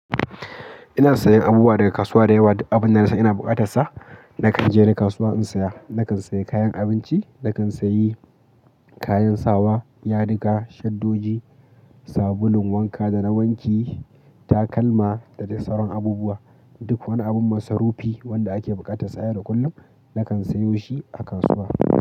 Ina siyan abubuwa daga kasuwa da yawa. Abun da na sani ina buƙatar sa, na kan je ni kasuwa in saya. Na kan say kayan abinci, na kan sayi, kayan sawa, yadiga, shaddoji, sabulun wanka da na wanki, takalma da dai sauran abubuwa. Duk wani abun masarufi wanda ake buƙatar sa a yau da kullum, na kan sayo shi a kasuwa.